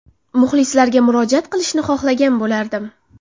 Muxlislarga murojaat qilishni xohlagan bo‘lardim.